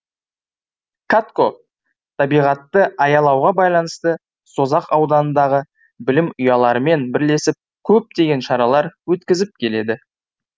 катко табиғатты аялауға байланысты созақ ауданындағы білім ұяларымен бірлесіп көптеген шаралар өткізіп келеді